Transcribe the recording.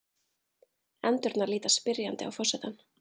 Endurnar líta spyrjandi á forsetann.